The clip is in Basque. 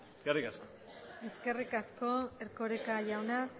eskerrik asko eskerrik asko erkoreka jauna